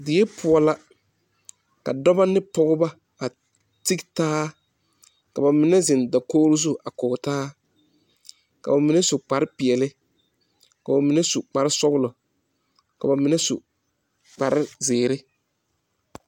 Deɛ poɔ la ka duba ne pɔgba a te taa kaba mene zeng dakuo zu a kɔɔ taa ka ba mene su kpare peɛle ka ba mene su kpare sɔglo ka ba mene su kpare ziiri.